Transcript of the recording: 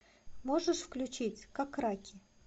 можешь включить как раки